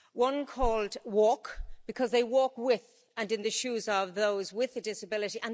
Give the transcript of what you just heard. One called Walk, because they walk with, and in the shoes of those with a disability